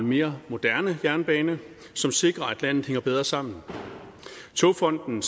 mere moderne jernbane som sikrer at landet hænger bedre sammen togfonden